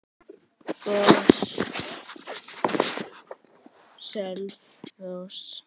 GOS- Selfoss